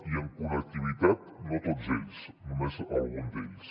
i en connectivitat no tots ells només algun d’ells